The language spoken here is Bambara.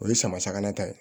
O ye sama sagama ta ye